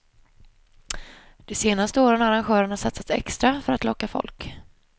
De senaste åren har arrangörerna satsat extra för att locka folk.